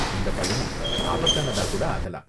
இந்த பயணம் ஆபத்தானதா கூட ஆகலாம்.